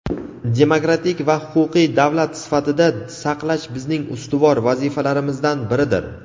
demokratik va huquqiy davlat sifatida saqlash bizning ustuvor vazifalarimizdan biridir.